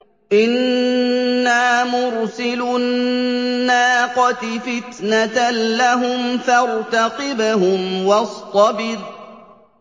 إِنَّا مُرْسِلُو النَّاقَةِ فِتْنَةً لَّهُمْ فَارْتَقِبْهُمْ وَاصْطَبِرْ